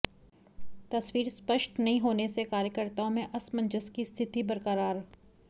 तस्वीर स्पष्ट नहीं होने से कार्यकर्ताओं में असमंजस की स्थिति बरकरार